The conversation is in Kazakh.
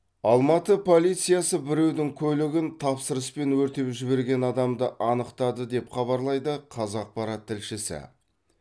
алматы полициясы біреудің көлігін тапсырыспен өртеп жіберген адамды анықтады деп хабарлайды қазақпарат тілшісі